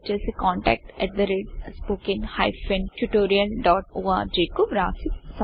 org contact at the rate spoken hyphen tutorial dot ఆర్గ్కువ్రాసిసంప్రదించండి